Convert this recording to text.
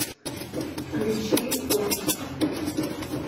включи отпуск